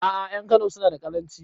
A'a ƴan kano suna da karanci